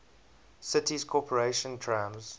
city's corporation trams